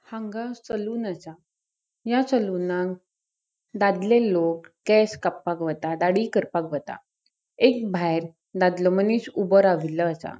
हांगा सलून असा. या सलूनाक दाद्ले लोग केस काप्पाक वता दाड़ी कर्पाक वता. एक भायर दाद्लो मनिस ऊबो राविल्लो असा.